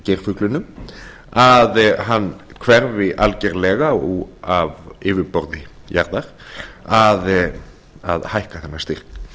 fór fyrir geirfuglinum að hann hverfi algerlega af yfirborði jarðar að hækka þennan styrk mig